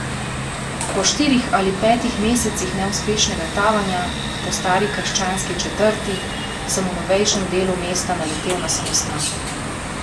Po štirih ali petih mesecih neuspešnega tavanja po stari krščanski četrti sem v novejšem delu mesta naletel na samostan.